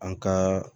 An ka